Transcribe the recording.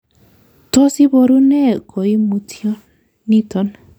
Tos iboru nee koimutyoniton?